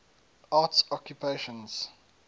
arts occupations